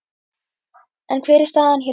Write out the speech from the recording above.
En hver er staðan hér heima?